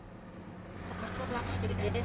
Það var svo langt um liðið.